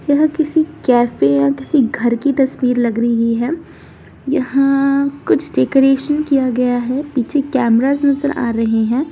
यह किसी कैफ़े या घर की तस्वीर लग रही है यहाँ कुछ डेकोरेशन किया गया है पीछे कैमरास नजर आ रहे हैं।